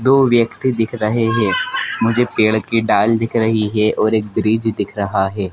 दो व्यक्ति दिख रहे हैं मुझे पेड़ की डाल दिख रही है और एक ब्रिज दिख रहा है।